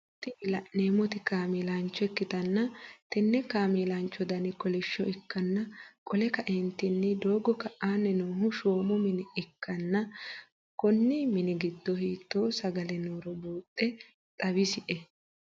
Tini laneemmoti kaameelaanch ikkitanna tenne kameelanchcho Dani kolishsho ikkanna qole kaeentinni doogo ka'aanni noohu shoommu mine ikkanna Konni mini gido hiitoo sagale nooro buuxxe xawisie?